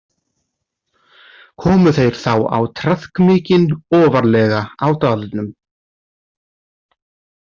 Komu þeir þá á traðk mikinn ofarlega á dalnum.